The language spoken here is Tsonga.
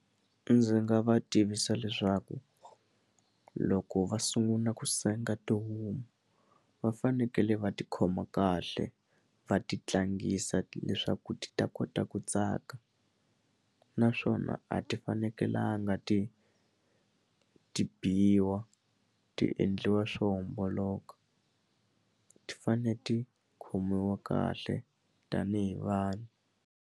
Ndzi nga va tivisa leswaku loko va sungula ku senga tihomu va fanekele va ti khoma kahle va ti tlangisa leswaku ti ta kota ku tsaka naswona a ti fanekelanga ti ti biwa ti endliwa swo homboloka ti fane ti khomiwa kahle tanihi vanhu.